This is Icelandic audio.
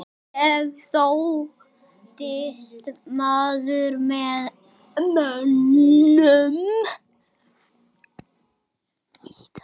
Ég þóttist maður með mönnum.